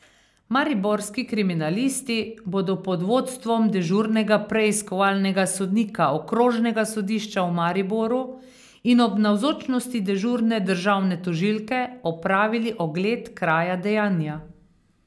Mariborski kriminalisti bodo pod vodstvom dežurnega preiskovalnega sodnika okrožnega sodišča v Mariboru in ob navzočnosti dežurne državne tožilke opravili ogled kraja dejanja.